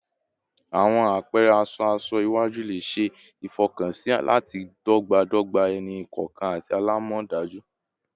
Awọn apẹrẹ aṣọ aṣọ iwaju le ṣe ifọkansi lati dọgbadọgba ẹni-kọọkan ati alamọdaju